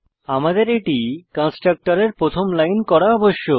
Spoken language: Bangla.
আমাদের এটি কন্সট্রকটরের প্রথম লাইন করা আবশ্যক